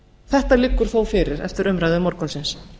þetta liggur þó fyrir eftir umræðu morgunsins